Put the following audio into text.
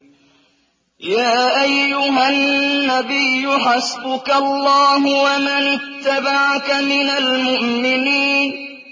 يَا أَيُّهَا النَّبِيُّ حَسْبُكَ اللَّهُ وَمَنِ اتَّبَعَكَ مِنَ الْمُؤْمِنِينَ